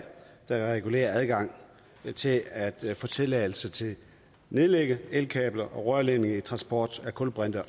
der regulerer adgangen til at få tilladelse til at nedlægge elkabler og rørledninger til transport af kulbrinter